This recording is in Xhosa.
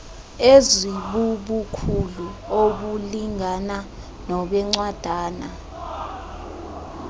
ezibubukhulu obulingana nobencwadana